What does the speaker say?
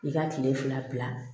I ka kile fila bila